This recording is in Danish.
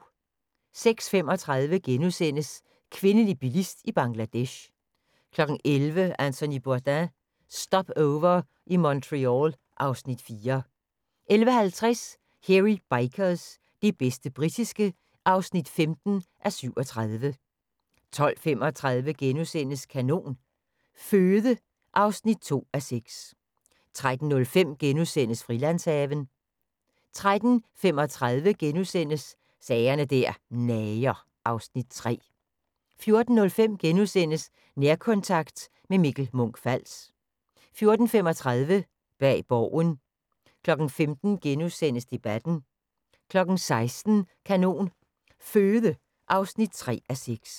06:35: Kvindelig bilist i Bangladesh * 11:00: Anthony Bourdain – Stopover i Montreal (Afs. 4) 11:50: Hairy Bikers – det bedste britiske (15:37) 12:35: Kanon Føde (2:6)* 13:05: Frilandshaven (2:8)* 13:35: Sager der nager (Afs. 3)* 14:05: Nærkontakt – med Mikkel Munch-Fals * 14:35: Bag Borgen 15:00: Debatten * 16:00: Kanon Føde (3:6)